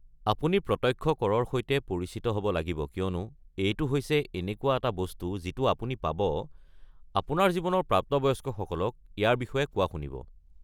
আপুনি প্ৰত্যক্ষ কৰৰ সৈতে পৰিচিত হ'ব লাগিব কিয়নো এইটো হৈছে এনেকুৱা এটা বস্তু যিটো আপুনি পাব, আপোনাৰ জীৱনৰ প্ৰাপ্তবয়স্কসকলক ইয়াৰ বিষয়ে কোৱা শুনিব।